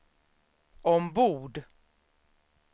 ombord